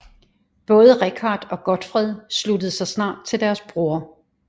Både Richard og Godfred sluttede sig snart til deres bror